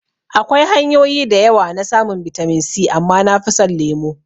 Akwai hanyoyi da yawa na samun bitamin C amma nafi son lemo